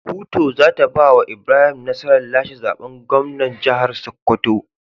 Kuto zata bawa Ibrahim nasarar lashe zaben gwamnan jahar sokoto